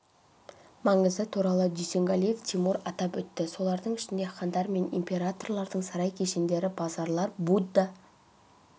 маңызы туралы дүйсенгалиев тимур атап өтті солардың ішінде хандар мен императорлардың сарай кешендері базарлар будда